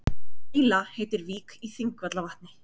Grýla heitir vík í Þingvallavatni.